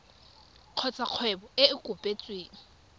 kgotsa kgwebo e e kopetsweng